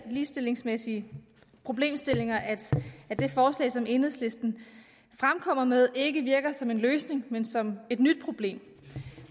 ligestillingsmæssige problemstillinger at det forslag som enhedslisten fremkommer med ikke virker som en løsning men som et nyt problem